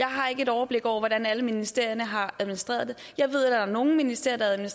har et overblik over hvordan alle ministerierne har administreret det jeg ved at nogle ministerier